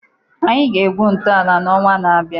anyị ga-egwu ntọala n'ọnwa na-abịa